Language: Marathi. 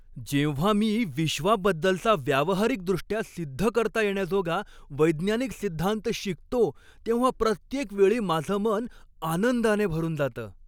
जेव्हा मी विश्वाबद्दलचा व्यावहारिकदृष्ट्या सिद्ध करता येण्याजोगा वैज्ञानिक सिद्धांत शिकतो तेव्हा प्रत्येक वेळी माझं मन आनंदाने भरून जातं.